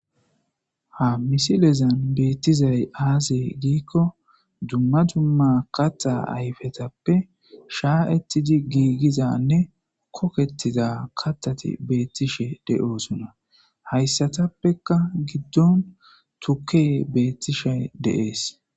ha misilezan beettizay aaze giikko dumma dumma kaxa ayfetappe shaa7ettidi giigizanne kokkettiza katati beettishe de7osuna hayssatappeka giddon tukke beettishe deees